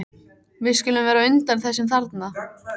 Við skulum vera á undan þessum þarna.